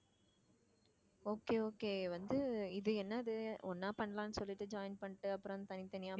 okay okay வந்து இது என்னது ஒண்ணா பண்ணலாம்னு சொல்லிட்டு join பண்ணிட்டு அப்புறம் தனித்தனியா